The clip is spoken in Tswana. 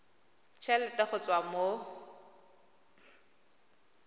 t helete go tswa mo